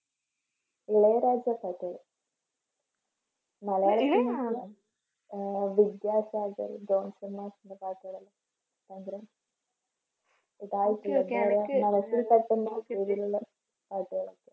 ഇളയരാജ മലയാളികൾ ആഹ് വിദ്യാസാഗർ ജോൺസൺ മാഷിൻറെ പാട്ടുകൾ എല്ലാം ഭയങ്കര മനസ്സിൽ പെട്ടെന്ന് പാട്ടുകള്